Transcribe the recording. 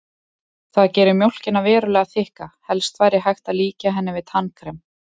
Það gerir mjólkina verulega þykka, helst væri hægt að líkja henni við tannkrem.